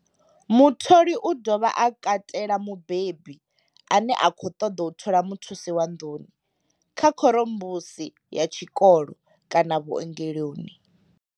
Mutholi u dovha a katela mubebi ane a khou ṱoḓa u thola muthusi wa nḓuni, kha khorombusi ya tshikolo kana vhuongeloni.